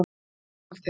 Hvað með framhaldið